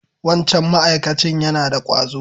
Wancan ma'akacin yana da ƙwazo.